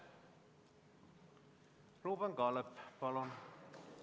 Ruuben Kaalep, palun!